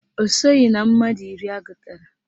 Ọ soghi na mmadụ iri agụtara